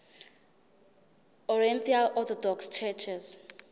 oriental orthodox churches